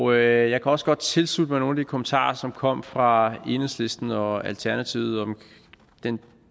og jeg kan også godt tilslutte mig nogle kommentarer som kom fra enhedslisten og alternativet om den